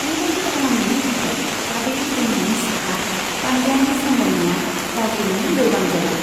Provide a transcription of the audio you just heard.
बेबादि खालामनायनि थाखाय काबेरि दैमानि साहा पान्ड्यानि सामलायनाया गाज्रियैनो लोरबां जायो।